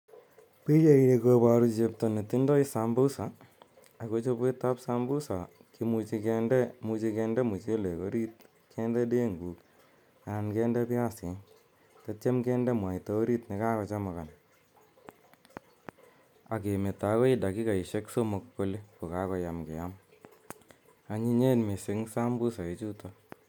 Pichaini koparu chepto ne tindai sambusa ako chopet ap sambusa ko muchi kinde mchelek orit, kinde denguk anan kinde denguk anan kinde piasik tatiam kinde mwaita orit ne kakochemukan ak kemeto akoi dakikasishek somok ko ko kakoyam keam. Anyinyen missing' sambusa ichutok.